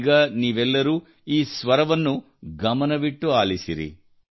ಈಗ ನೀವೆಲ್ಲರೂ ಈ ಸ್ವರವನ್ನು ಗಮನವಿಟ್ಟು ಆಲಿಸಿರಿ